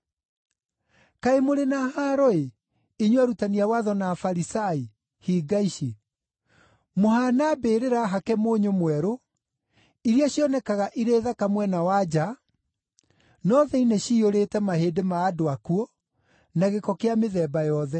“Kaĩ mũrĩ na haaro-ĩ, inyuĩ arutani a watho na Afarisai, hinga ici! Mũhaana mbĩrĩra hake mũnyũ mwerũ, iria cionekaga irĩ thaka mwena wa nja, no thĩinĩ ciyũrĩte mahĩndĩ ma andũ akuũ, na gĩko kĩa mĩthemba yothe.